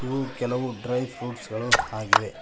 ಇವು ಕೆಲವು ಡ್ರೈಫ್ರೂಟ್ಸ್ ಗಳು ಆಗಿವೆ.